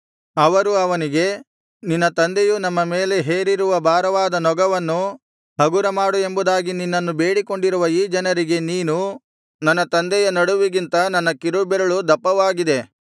ಅವರು ಅವನಿಗೆ ನಿನ್ನ ತಂದೆಯು ನಮ್ಮ ಮೇಲೆ ಹೇರಿರುವ ಭಾರವಾದ ನೊಗವನ್ನು ಹಗುರ ಮಾಡು ಎಂಬುದಾಗಿ ನಿನ್ನನ್ನು ಬೇಡಿಕೊಂಡಿರುವ ಈ ಜನರಿಗೆ ನೀನು ನನ್ನ ತಂದೆಯ ನಡುವಿಗಿಂತ ನನ್ನ ಕಿರುಬೆರಳು ದಪ್ಪವಾಗಿದೆ